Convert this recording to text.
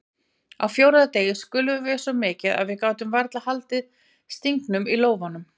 Á fjórða degi skulfum við svo mikið að við gátum varla haldið stingnum í lófanum.